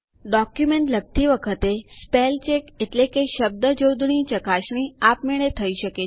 document લખતી વખતે spell check શબ્દજોડણી ચકાસણી આપમેળે થઇ શકે છે